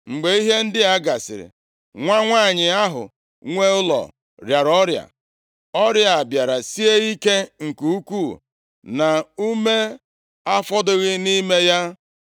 Mgbe ihe ndị a gasịrị, nwa nwanyị ahụ nwe ụlọ rịara ọrịa. Ọrịa a bịara sie ike nke ukwuu na ume afọdụghị nʼime ya.